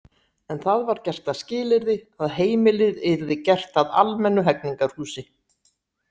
En það var gert að skilyrði að heimilið yrði gert að almennu hegningarhúsi.